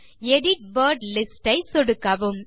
edit word lists ஐ சொடுக்கவும்